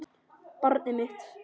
Barnið mitt.